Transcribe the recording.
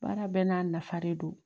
Baara bɛɛ n'a nafa de do